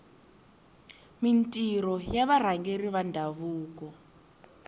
mintirho ya varhangeri va ndhavuko